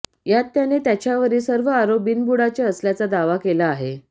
यात त्याने त्याच्यावरील सर्व आरोप बिनबुडाचे असल्याचा दावा केला आहे